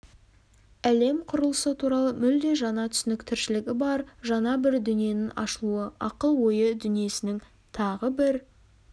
әлем құрылысы туралы мүлде жаңа түсінік тіршілігі бар жаңа бір дүниенің ашылуы ақыл-ойы дүниесінің тағы бір